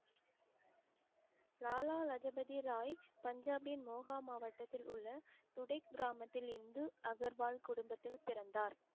லாலா லஜபதி ராய் பஞ்சாபின் மோகா மாவட்டத்தில் உள்ள துடிக் கிராமத்தில் இந்து அகர்வால் குடும்பத்தில் பிறந்தார்